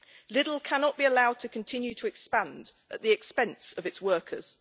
Lidl cannot be allowed to continue to expand at the expense of its workers.